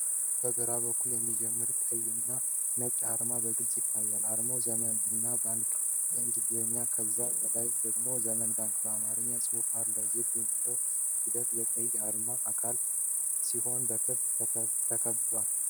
ከግራ በኩል የሚጀምር ቀይና ነጭ አርማ በግልጽ ይታያል። አርማው "Zemen" እና "BANK" በእንግሊዝኛ፣ ከዛ በላይ ደግሞ "ዘመን ባንክ" በአማርኛ ጽሑፍ አለው። "Z" የሚለው ፊደል የቀይ አርማ አካል ሲሆን በክብ ተከቧል።